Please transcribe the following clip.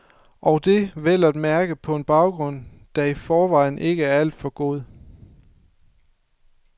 Og det vel og mærke på en baggrund, der i forvejen ikke var alt for god.